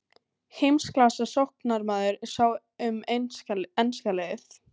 Heimsklassa sóknarmaður sá um enska liðið.